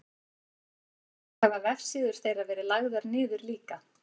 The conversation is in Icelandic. í dag hafa vefsíður þeirra verið lagðar niður líka